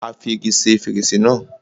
Á fi igi ṣe fèrèsé náà.